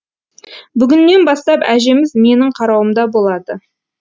бүгіннен бастап әжеміз менің қарауымда болады